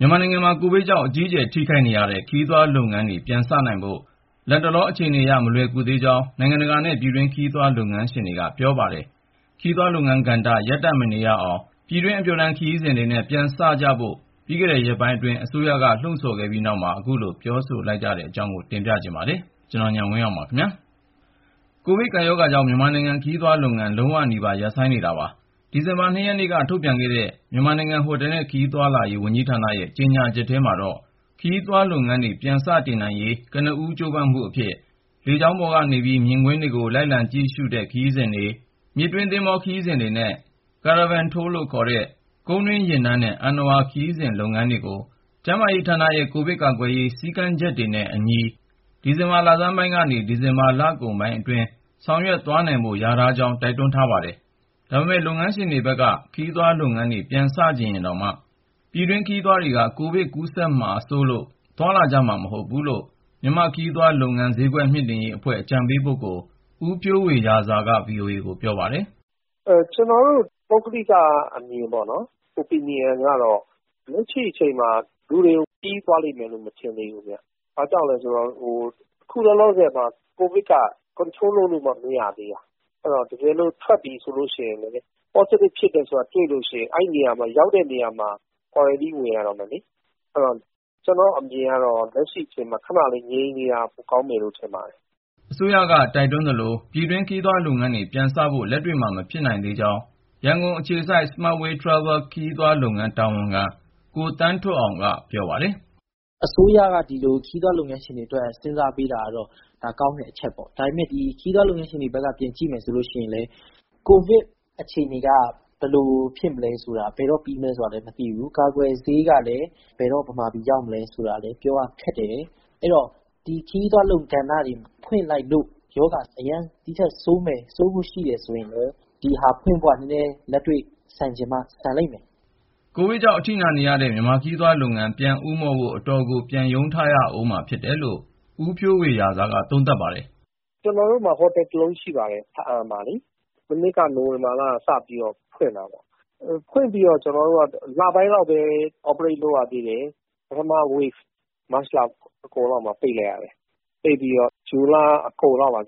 မြန်မာနိုင်ငံမှာ ကိုဗစ်ကြောင့် အကြီးကျယ် ထိခိုက်နေရတဲ့ ခရီးသွားလုပ်ငန်းတွေ ပြန်စနိုင်ဖို့ လတ်တလော အခြေအနေအရ မလွယ်ကူသေးကြောင်း နိုင်ငံတကာနဲ့ ပြည်တွင်း ခရီးသွားလုပ်ငန်းရှင်တွေက ပြောပါတယ်။ ခရီးသွားလုပ်ငန်းကဏ္ဍ ရပ်တန့်မနေရအောင် ပြည်တွင်း အပျော်တမ်းခရီးစဉ်တွေနဲ့ ပြန်စကြဖို့ ပြီးခဲ့တဲ့ရက်ပိုင်းအတွင်း အစိုးရက လှုံ့ဆော်ခဲ့ပြီး နောက်မှာ ခုလို ပြောဆိုလိုက်ကြတာပါ။ အပြည့်အစုံကို ကိုဉာဏ်ဝင်းအောင် စုစည်း တင်ပြထားပါတယ်။ ကိုဗစ်ကပ်ရောဂါကြောင့် မြန်မာနိုင်ငံ ခရီးသွားလုပ်ငန်း လုံးဝနီးပါး ရပ်ဆိုင်းနေတာပါ။ ဒီဇင်ဘာလ ၂ ရက်နေ့က ထုတ်ပြန်တဲ့ မြန်မာနိုင်ငံ ဟိုတယ်နဲ့ ခရီးသွားလာရေး ဝန်ကြီးဌာနရဲ့ ကြေညာချက်ထဲမှာတော့ ခရီးသွားလုပ်ငန်းတွေ ပြန်လည်စတင်နိုင်ရေး ကနဦးကြိုးပမ်းမှုအဖြစ် လေယာဉ်ပေါ်ကနေပြီး မြင်ကွင်းတွေ လိုက်လံကြည့်ရှုတဲ့ ခရီးစဉ်တွေ၊ မြစ်တွင်း သင်္ဘောခရီးစဉ်တွေနဲ့ Caravan Tour လို့ခေါ်တဲ့ ကုန်းတွင်းယာဉ်တန်းနဲ့ အဏ္ဏဝါ ခရီးသွားလုပ်ငန်းတွေကို ကျန်းမာရေးဌာနရဲ့ ကိုဗစ်ကာကွယ်ရေး စည်းကမ်းချက်တွေနဲ့အညီ ဒီဇင်ဘာလဆန်းပိုင်းကနေ ဒီဇင်ဘာ လကုန်ပိုင်းအတွင်း ဆောင်ရွက်သွားနိုင်ဖို့ လျာထားကြောင်း တိုက်တွန်းထားပါတယ်။ ဒါပေမယ့် လုပ်ငန်းရှင်တွေဘက်က ခရီးသွားလုပ်ငန်းတွေ ပြန်စချင်ရင်တောင်မှ ပြည်တွင်းခရီးသွားတွေက ကိုဗစ်ကူးစက်မှာ စိုးရိမ်တာကြောင့် သွားလာကြဦးမှာ မဟုတ်ဘူးလို့ မြန်မာ့ခရီးသွားလုပ်ငန်း ဈေးကွက်မြှင့်တင်ရေးအဖွဲ့ အကြံပေးပုဂ္ဂိုလ် ဦးဖြိုးဝေရာဇာက ဗွီအိုအေကို ပြောပါတယ်။ “ကျနော်တို့ ပုဂ္ဂလိကအမြင်ကတော့ လက်ရှိအချိန်မှာ လူတွေ ခရီးသွားလိမ့်မယ်လို့ မထင်သေးဘူးခင်ဗျ။ ဘာကြောင့်လဲဆိုတော့ ခုလောလောဆယ်မှာ ကိုဗစ်က ထိန်းချုပ်လို့မှ မရသေးတာ။ အဲဒီတော့ တကယ်လို့ အပြင်ထွက်ပြီ ဆိုလို့ရှိရင်လည်း Positive ဖြစ်တယ်ဆိုတာ တွေ့လို့ရှိရင် အဲဒီရောက်တဲ့နေရာမှာ ကွာရမ်တင်း ဝင်ရတော့မယ်လေ။ အဲဒီတော့ ကျနော့်အမြင်ကတော့ လက်ရှိအချိန်မှာ ခဏလေး ငြိမ်နေတာ ပိုကောင်းမယ်လို့ ထင်ပါတယ်။” အစိုးရက တိုက်တွန်းသလို ပြည်တွင်းခရီးသွားလုပ်ငန်းတွေ ပြန်စဖို့ လက်တွေ့မှာ မဖြစ်နိုင်သေးကြောင်း ရန်ကုန်အခြေစိုက် Smart Way Travel ခရီးသွားလုပ်ငန်း တာဝန်ခံ ကိုသန်းထွဋ်အောင် (ခေါ်) Anthony Yang က ပြောပါတယ်။ “အစိုးရ ခုလို ခရီးသွားလုပ်ငန်းရှင်တွေအတွက် စဉ်းစားပေးတာကတော့ ဒါ ကောင်းတဲ့အချက်ပေါ့။ ဒါပေမယ့် ခရီးသွားလုပ်ငန်းရှင်တွေဘက်က ပြန်ကြည့်မယ်ဆိုလို့ရှိရင် ကိုဗစ်အခြေအနေက ဘယ်လိုဆက်ဖြစ်မယ်၊ ဘယ်တော့ပြီးမလဲဆိုတာ မသိနိုင်ဘူး။ ကာကွယ်ဆေးကလည်း ဘယ်တော့ မြန်မာပြည် ရောက်လာမလဲ ဆိုတာလည်း ပြောရခက်တယ်။ အဲဒီတော့ ဒီ ခရီးသွားကဏ္ဍတွေ ဖွင့်လိုက်လို့ ရောဂါကူးစက်မှု ဒီထက်ဆိုးဖို့ပဲ ရှိလာမယ်ဆိုရင် ဒီလုပ်ငန်းတွေကို ပြန်စဖို့က လက်တွေ့ဆန်ချင်မှ ဆန်လိမ့်မယ်။” ကိုဗစ်ကြောင့် အထိနာနေရတဲ့ မြန်မာနိုင်ငံ ခရီးသွားလုပ်ငန်း ပြန်ဦးမော့ဖို့ အတော်ကို ပြန်ရုန်းထရမှာဖြစ်တယ်လို့ ဦးဖြိုးဝေရာဇာက သုံးသပ်ပါတယ်။ “ကျနော်တို့မှာ ဟိုတယ်တလုံးရှိပါတယ်၊ ဘားအံမြို့မှာလေ။ မနှစ်က ၂၀၁၉ နိုဝင်ဘာလကစပြီး ဖွင့်ခဲ့တာပေါ့။ ဖွင့်ပြီးတော့ လပိုင်းလောက်ပဲ လုပ်ငန်းလည်ပတ်ရသေးတယ်၊ ကိုဗစ် ပထမလှိုင်းကြောင့် မတ်လအကုန်လောက်မှာ ပိတ်လိုက်ရတယ်။ ပိတ်ပြီးတော့ ဇွန်လအကုန်လောက်မှာ